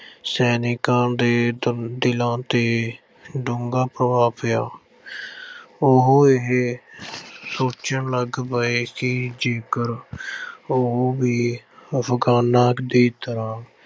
ਸੈਨਿਕਾਂ ਦੇ ਦ ਅਹ ਦਿਲਾਂ 'ਤੇ ਡੂੰਘਾ ਪ੍ਰਭਾਵ ਪਿਆ ਉਹ ਇਹ ਸੋਚਣ ਲੱਗ ਪਏ ਕਿ ਜੇਕਰ ਉਹ ਵੀ Afghans ਦੀ ਤਰ੍ਹਾਂ